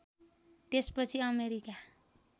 त्यसपछि अमेरिका